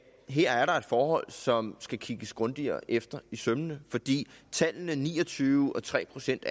her er et forhold som skal kigges grundigere efter i sømmene fordi tallene ni og tyve og tre procent